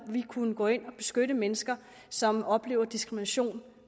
vi kunne gå ind og beskytte mennesker som oplever diskrimination